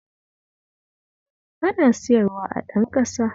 Ana siyarwa a Ɗanƙasa